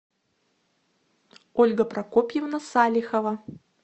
ольга прокопьевна салихова